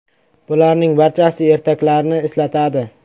Bularning barchasi ertaklarni eslatadi.